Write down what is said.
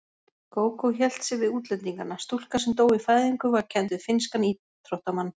Gógó hélt sig við útlendingana: Stúlka sem dó í fæðingu var kennd við finnskan íþróttamann.